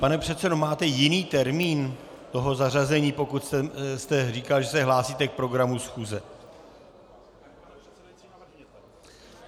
Pane předsedo, máte jiný termín toho zařazení, pokud jste říkal, že se hlásíte k programu schůze?